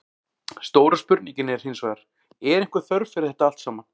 Stóra spurningin er hinsvegar, er einhver þörf fyrir þetta allt saman?